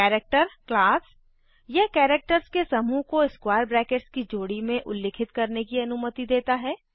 character class यह characters के समूह को स्क्वायर ब्रैकेट्स की जोड़ी में उल्लिखित करने की अनुमति देता है